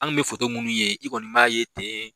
Anw tun bɛ foto minnu ye i kɔni b'a ye ten